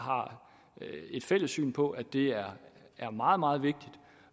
har et fælles syn på at det er er meget meget vigtigt